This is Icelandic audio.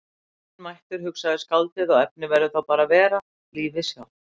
Saumurinn mættur, hugsaði skáldið, og efnið verður þá bara að vera. lífið sjálft.